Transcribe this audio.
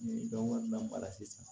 Ni dɔn wɛrɛ lamara sisan